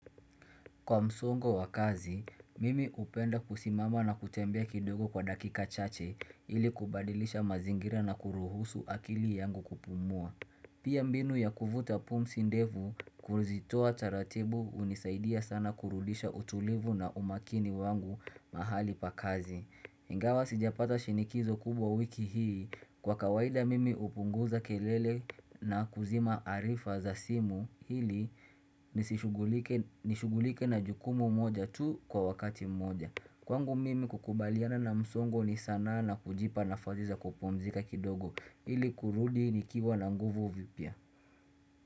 Kwa msongo wa kazi, mimi hupenda kusimama na kutembea kidogo kwa dakika chache ili kubadilisha mazingira na kuruhusu akili yangu kupumua. Pia mbinu ya kuvuta pumzi ndefu kuzitoa taratibu hunisaidia sana kurudisha utulivu na umakini wangu mahali pa kazi. Ingawa sijapata shinikizo kubwa wiki hii kwa kawaida mimi hupunguza kelele na kuzima arifa za simu ili nishugulike na jukumu moja tu kwa wakati moja. Kwangu mimi kukubaliana na msongo ni sanaa na kujipa nafasi za kupumzika kidogo ili kurudi nikiwa na nguvu vipya.